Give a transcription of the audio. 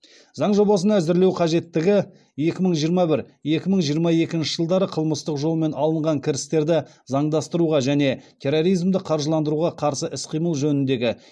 заң жобасын әзірлеу қажеттігі екі мың жиырма бір екі мың жиырма екінші жылдары қылмыстық жолмен алынған кірістерді заңдастыруға және терроризмді қаржыландыруға қарсы іс қимыл жөніндегі